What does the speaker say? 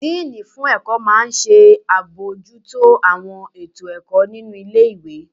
Díìnì fún ẹ̀kọ́ máa n ṣe àbojútó àwọn ètò ẹ̀kọ́ nínu ilé-ìwé